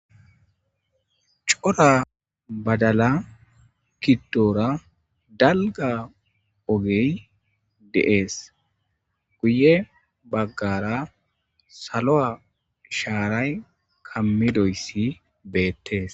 cora badala kiddoora dalga ogey deees guye baggara salo7a shaaray kamidoyssi beettees